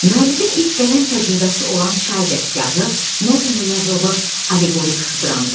Müəllifin ilk qələm təcrübəsi olan çay dəstgahı nəzmlə yazılmış alleqorik dramdır.